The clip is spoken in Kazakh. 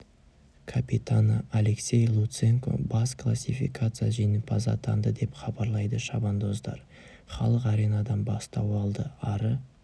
капитаны алексей луценко бас классификация жеңімпазы атанды деп хабарлайды шабандоздар халық аренадан бастау алды ары